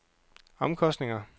omkostninger